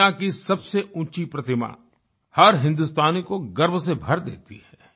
दुनिया की सबसे ऊँची प्रतिमा हर हिन्दुस्तानी को गर्व से भर देती है